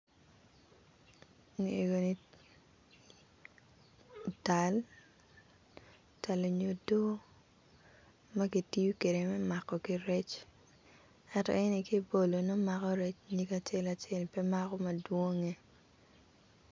Eni obedo tal onyo odo magitiyo kede me mako ki rec ngato eni kibolo nongo mako rec ki nyige acel acel pe mako madwong.